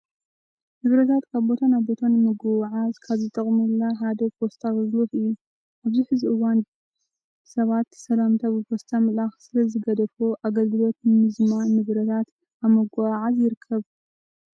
ንብረታት ካብ ቦታ ናብ ቦታ ንምጉዕዓዝ ካብ ዝጠቅሙላ ሓደ ፖስታ ኣገልግሎት እዩ። ኣብዚ ሕዚ እዋን ሰባት ሰላምታ ብፖስታ ምልኣክ ስለዝገደፎ ኣገልግሎቱ ንምዝማን ንብረታት ኣብ ምጉዕዓዝ ይርከብ።